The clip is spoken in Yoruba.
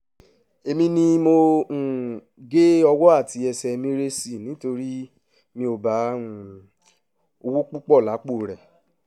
èmi ni mo um gé owó àti ẹsẹ̀ mérésì nítorí mi ò bá um owó púpọ̀ lápò rẹ̀